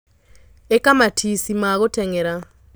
Īka matici ma gūteng'era.